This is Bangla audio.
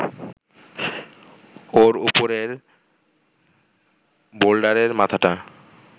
ওর ওপরের বোল্ডারের মাথাটা